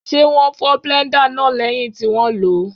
Ṣé wón fọ bléńdà náà lẹ́yìn tí wón lòó.